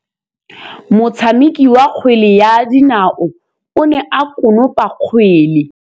Motshameki wa kgwele ya dinaô o ne a konopa kgwele.